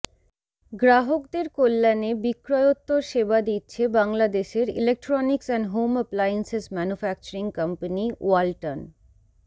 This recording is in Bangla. গ্রাহকদের কল্যাণে বিক্রয়োত্তর সেবা দিচ্ছে বাংলাদেশের electronics and home appliances manufacturing company Walton